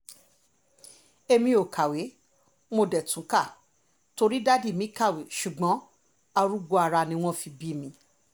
èmi ò kàwé mo dé tún ká torí dádì mi kàwé ṣùgbọ́n arúgbó ara ni wọ́n fi bí mi